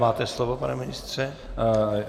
Máte slovo, pane ministře.